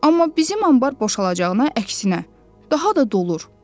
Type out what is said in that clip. Amma bizim anbar boşalacağına əksinə, daha da dolur.